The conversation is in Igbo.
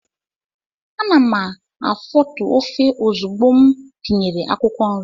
Ana m afotu ofe ozugbo m tinyere akwụkwọ nri.